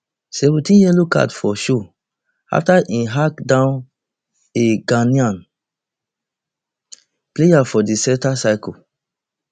sixteenyellow card for show afta im hack down a ghanaian player for di center circle